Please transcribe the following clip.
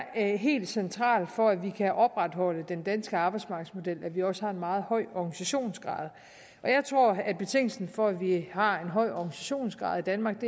helt centralt for at vi kan opretholde den danske arbejdsmarkedsmodel at vi også har en meget høj organisationsgrad jeg tror at betingelsen for at vi har en høj organisationsgrad i danmark